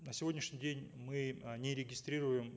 на сегодняшний день мы э не регистрируем